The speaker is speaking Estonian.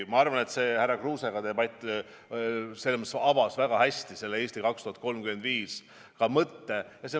Ma arvan, et debatt härra Kruusega avas väga hästi "Eesti 2035" mõtte.